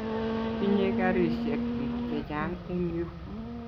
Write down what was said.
Tinye karisyek pik chechang' eng' yu